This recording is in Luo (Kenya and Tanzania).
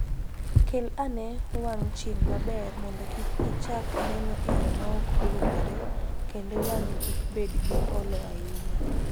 Kel ane wang' chieng' maber mondo kik ichak neno e yo ma ok owinjore kendo wang'i kik bed gi olo ahinya.